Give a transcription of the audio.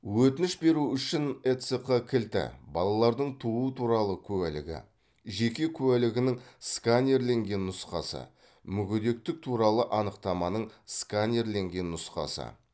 өтініш беру үшін эцқ кілті балалардың туу туралы куәлігі жеке куәлігінің сканерленген нұсқасы мүгедектік туралы анықтаманың сканерленген нұсқасы